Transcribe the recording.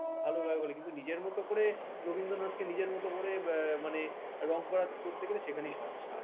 ভালো গায়ক hall এ কিন্তু নিজের মতো করে রবীন্দ্রনাথকে নিজের মতো ইয়ে মানে রং করা করতে গেলে সেখানেই সমস্যা আরকিছু না